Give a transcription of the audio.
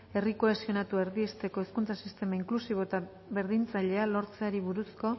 herri kohesionatua erdiesteko hezkuntza sistema inklusibo eta berdintzailea lortzeari buruzko